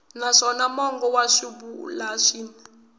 naswona mongo wa swivulwa swin